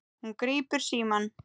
Hún grípur símann.